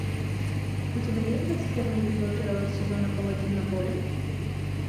у тебя есть двадцать первый эпизод первого сезона паладин на поле